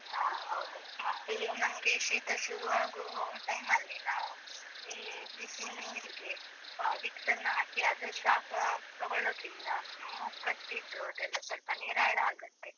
ಹಾ, ಹೌದು. ಮತ್ತೆ ನಮ್ಗೆ ಶೀತ ಶುರುವಾಗೊ time ಅಲ್ಲಿ ನಾವು, ಈ ಬಿಸಿ ನೀರಿಗೆ vicks ಅನ್ನು ಹಾಕಿ ಅದ್ರ ಶಾಖ ತಗೋಳೋದ್ರಿಂದ, ಮೂಗ್ ಕಟ್ಟಿದ್ದು ಅದೆಲ್ಲ ಸ್ವಲ್ಪ ನಿರಾಳ ಆಗತ್ತೆ.